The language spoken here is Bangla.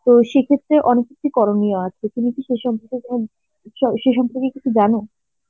তো সেই ক্ষেত্রে অনেক কিছুই করণীয় আছে, তুমি কি সেই সম্পর্কে সেই সম্পর্কে কিছু জানো?